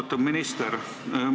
Austatud minister!